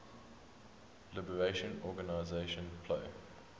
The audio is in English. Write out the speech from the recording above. liberation organization plo